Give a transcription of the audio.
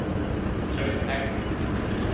sauð egg.